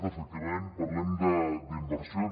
efectivament parlem d’inversions